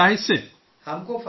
ہم کو فائدہ ہوتا ہے